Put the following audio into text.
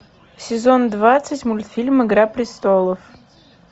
сезон двадцать мультфильм игра престолов